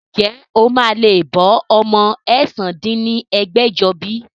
Ǹjẹ́ o máa lè máa bọ́ ọmọ ẹ̀sán dín ní ẹgbẹ́jọ bí?